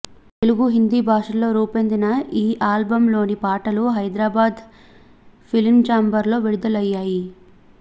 తెలుగు హిందీ భాషల్లో రూపొందిన ఈ ఆల్బమ్లోని పాటలు హైదరాబాద్ ఫిలించాంబర్లో విడుదలయ్యాయి